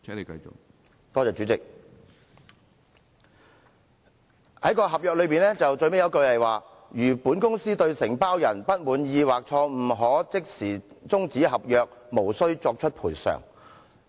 主席，合約最後一句寫道："如本公司對承包人不滿意，可即時終止合約，無須作出賠償。